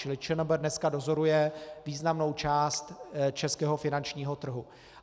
Čili ČNB dneska dozoruje významnou část českého finančního trhu.